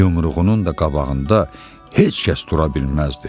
Yumruğunun da qabağında heç kəs dura bilməzdi.